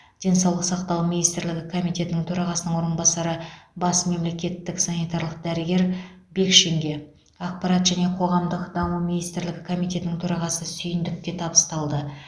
денсаулық сақтау министрлігі комитетінің төрағасының орынбасары бас мемлекеттік санитарлық дәрігері бекшинге ақпарат және қоғамдық даму министрлігі комитетінің төрағасы сүйіндікке табысталды